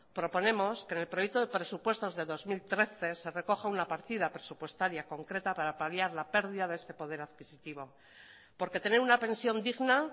proponemos que en el proyecto de presupuestos del dos mil trece se recoja una partida presupuestaria concreta para paliar la pérdida de este poder adquisitivo porque tener una pensión digna